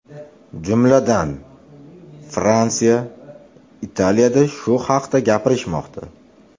Jumladan, Fransiya, Italiyada shu haqda gapirishmoqda.